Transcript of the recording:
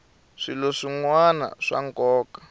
swilo swin wana swa nkoka